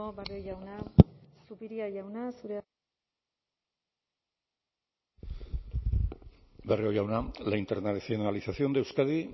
barrio jauna zupiria jauna zurea barrio jauna la internacionalización de euskadi